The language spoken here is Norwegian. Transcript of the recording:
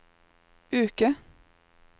uke